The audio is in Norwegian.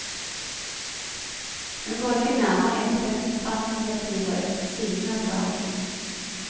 Hun går ikke nærmere inn på den kvantitative siden av saken.